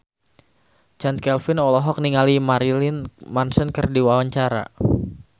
Chand Kelvin olohok ningali Marilyn Manson keur diwawancara